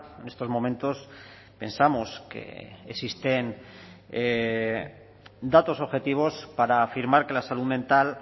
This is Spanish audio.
en estos momentos pensamos que existen datos objetivos para afirmar que la salud mental